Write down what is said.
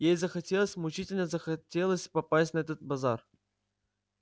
ей захотелось мучительно захотелось попасть на этот базар